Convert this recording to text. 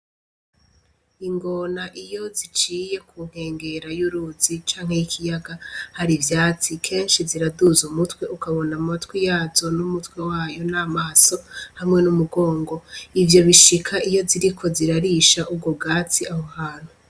Ingona iyo ziciye kunkengera y'uruzi canke y'ikiyaga hari ivyatsi, kenshi ziraduza umutwe ukabona amatwi yazo n'umutwe wayo n'amaso, hamwe n'umugongo, ivyo bishika iyo ziriko zirarisha ubwo bwatsi aho hantu.